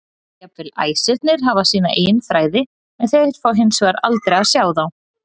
Jafnvel æsirnir hafa sína eigin þræði en þeir fá hins vegar aldrei að sjá þá.